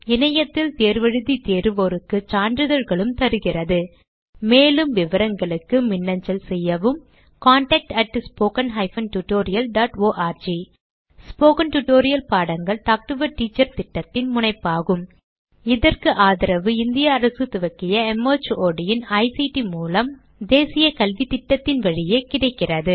இணையத்தில் தேர்வு எழுதி தேர்வோருக்கு சான்றிதழ்களும் அளிக்கிறதுமேலும் விவரங்களுக்கு மின்னஞ்சல் செய்யவும் contactspoken tutorialorg ஸ்போகன் டுடோரியல் பாடங்கள் டாக் டு எ டீச்சர் திட்டத்தின் முனைப்பாகும்இதற்கு ஆதரவு இந்திய அரசு துவக்கிய மார்ட் இன் ஐசிடி மூலம் தேசிய கல்வித்திட்டத்தின் வழியே கிடைக்கிறது